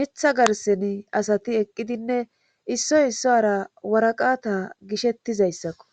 mitha garseni asati eqqidinne issoy isso ara waraqata gishettizayssakko.